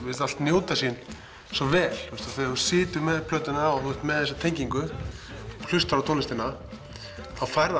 finnst allt njóta sín svo vel þú situr með plötuna þú ert með þessa tengingu hlustar á tónlistina og þá fær